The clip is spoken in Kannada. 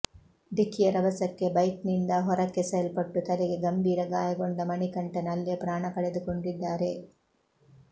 ಢಿಕ್ಕಿಯ ರಭಸಕ್ಕೆ ಬೈಕ್ನಿಂದ ಹೊರಕ್ಕೆಸೆಯಲ್ಪಟ್ಟು ತಲೆಗೆ ಗಂಭೀರ ಗಾಯಗೊಂಡ ಮಣಿಕಂಠನ್ ಅಲ್ಲೇ ಪ್ರಾಣ ಕಳೆದುಕೊಂಡಿದ್ದಾರೆ